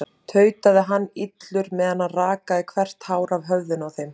tautaði hann illur meðan hann rakaði hvert hár af höfðinu á þeim.